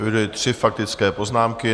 Eviduji tři faktické poznámky.